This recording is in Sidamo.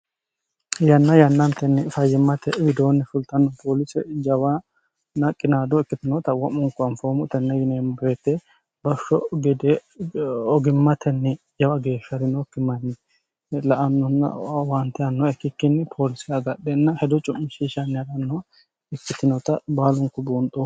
yanna yannantenni fayimmate widoonni fultanno poolise jawana qinaadoo ikkitinota wo'munku anfoomu tenne yineemm breete bafisho gede ogimmatenni jawa geeshsha'rinookki manyi la annonna waante anno ikkikkinni poolise agadhenna hedo cu'mishishanni ha'rannoh ikkitinota baalunku buunxo